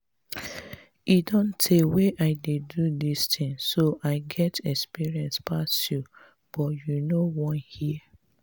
e don tey wey i dey do dis thing so i get experience pass you but you no wan hear